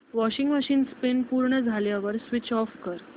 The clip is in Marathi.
वॉशिंग मशीन स्पिन पूर्ण झाल्यावर स्विच ऑफ कर